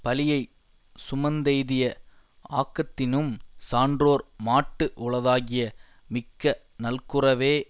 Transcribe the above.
பழியைச் சுமந்தெய்திய ஆக்கத்தினும் சான்றோர் மாட்டு உளதாகிய மிக்க நல்குரவே